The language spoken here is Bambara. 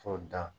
K'o dan